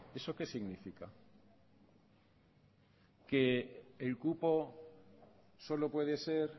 eso qué significa que el cupo solo puede ser